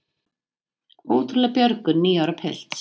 Ótrúleg björgun níu ára pilts